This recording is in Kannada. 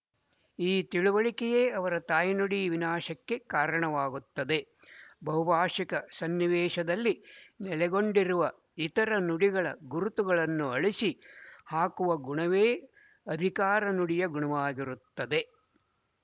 ಈ ತಿಳುವಳಿಕೆಯೇ ಅವರ ತಾಯ್ನುಡಿ ವಿನಾಶಕ್ಕೆ ಕಾರಣವಾಗುತ್ತದೆ ಬಹುಭಾಶಿಕ ಸನ್ನಿವೇಶದಲ್ಲಿ ನೆಲೆಗೊಂಡಿರುವ ಇತರ ನುಡಿಗಳ ಗುರುತುಗಳನ್ನು ಅಳಿಸಿ ಹಾಕುವ ಗುಣವೇ ಅಧಿಕಾರ ನುಡಿಯ ಗುಣವಾಗಿರುತ್ತದೆ